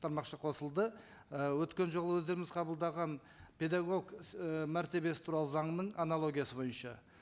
тармақша қосылды і өткен жолы өздеріңіз қабылдаған педагог і мәртебесі туралы заңның аналогиясы бойынша